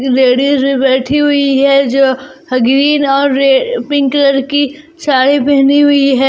Ladies भी बैठी हुई हैं जो और पिंक कलर की साड़ी पहनी हुई है।